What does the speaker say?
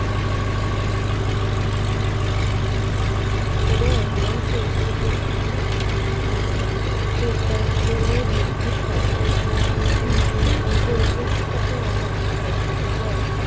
দনের এবং শিল্পভিত্তিক আহ মাংস উৎপাদনের বৃদ্ধির হরমোন কৃষি পরিবেশগত অবক্ষয় এবং